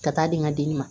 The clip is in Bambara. Ka taa di n ka den ma